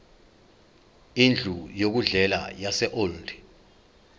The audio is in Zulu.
indlu yokudlela yaseold